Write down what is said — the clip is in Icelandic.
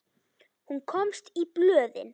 Hún komst í blöðin.